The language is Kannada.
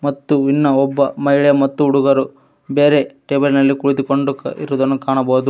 ಮತ್ತು ಇನ್ನ ಒಬ್ಬ ಮಹಿಳೆ ಮತ್ತು ಹುಡುಗರು ಬೇರೆ ಟೇಬಲ್ ನಲ್ಲಿ ಕುಳಿತುಕೊಂಡು ಇರುವುದನ್ನು ಕಾಣಬಹುದು.